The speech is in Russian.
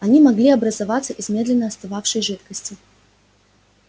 они могли образоваться из медленно остывающей жидкости